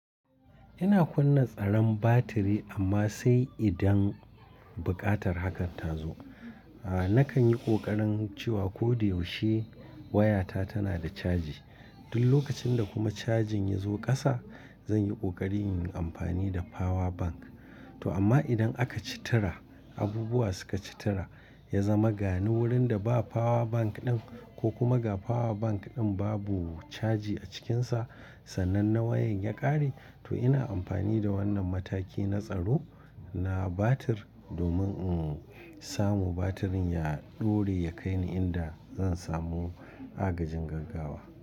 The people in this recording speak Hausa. Ina kunna tsaron batiri amma sai idan buƙatar hakan ta zo. A nakan yi ƙoƙarin cewa ko da yaushe wayata tana da caji. Duk lokacin da kuma cajin ya zo ƙasa, zan yi ƙoƙari yin amfani da power bank. To amma idan aka ci tura, abubuwa suka ci tura, ya zama ga ni wurin da ba power bank ɗin ko kuma ga power bank ɗin babu caji a cikinsa, sannan na wayan ya ƙare, to ina amfani da wannan mataki na tsaro na batir domin in samu batir ya ɗore, ya kai ni inda zan samu agajin gaggawa.